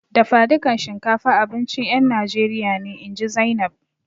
Dafadukan shinkafa abincin ƴan Najeriya ne, inji Zainab.